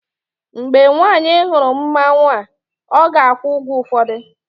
mgbe nwanyị hụrụ mmanwu a, ọ ga-akwụ ụgwọ ụfọdụ